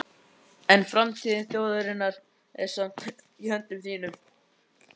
En framtíð þjóðarinnar er samt í höndum þínum.